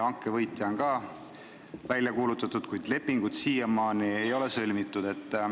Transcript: Hanke võitja on ka välja kuulutatud, kuid lepingut siiamaani ei ole sõlmitud.